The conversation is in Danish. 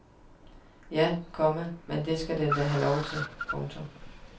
Ja, komma men det skal den da have lov til. punktum